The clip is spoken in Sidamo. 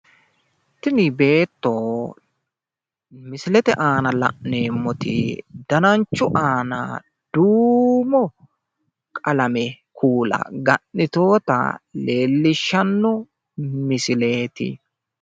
Tini beetto misilete aana la'neemmoti dananchu aana duumo qalame kuula ga'nitewota leellishshanno misileeti.